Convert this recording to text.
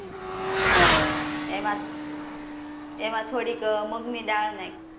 હા એમાં એમાં થોડીક મગની દાળ નાખ